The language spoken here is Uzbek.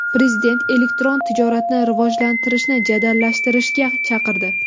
Prezident elektron tijoratni rivojlantirishni jadallashtirishga chaqirdi.